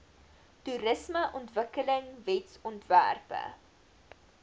toerismeontwikkelingwetsontwerpe